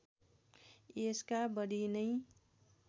यसका बढी नै